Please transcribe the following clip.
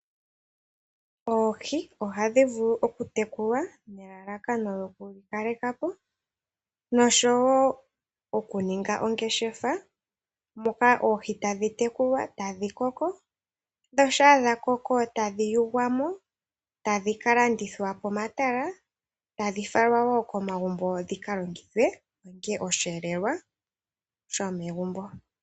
Oohi oha dhi vulu okutekulwa nelalakano lyoku dhi kaleka po noshowo okuninga ongeshefa, moka oohi tadhi tekulwa ta dhi koko na shampa dha koko e tadhi yugwa mo tadhi ka landithwa pomatala, tadhi falwa wo komagumbo dhi ka longithwe dhi ninge oshihelelwa sho megumbo.